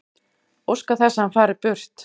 Óska þess að hann fari burt.